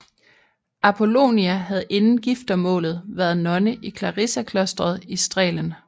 Apolonia havde inden giftermålet været nonne i clarisserklosteret i Strehlen